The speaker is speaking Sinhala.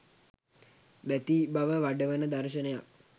බැතිබව වඩවන දර්ශනයක්